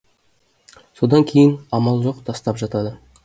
содан кейін амал жоқ тастап жатады